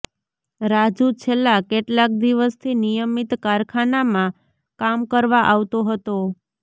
રાજુ છેલ્લા કેટલાક દિવસથી નિયમિત કારખાનામાં કામ કરવા આવતો હતો